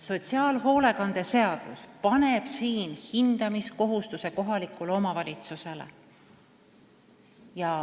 Sotsiaalhoolekande seadus paneb hindamiskohustuse kohalikule omavalitsusele.